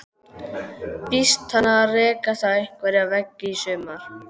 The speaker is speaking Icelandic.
Býst hann við að rekast á einhverja veggi í sumar?